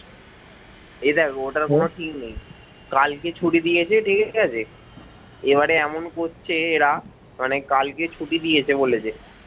এ দেখ ওটার কোনো ঠিক নেই কালকে ছুটি দিয়েছে ঠিক আছে এবারে এমন করছে এরা মানে কালকে ছুটি দিয়েছে বলে যে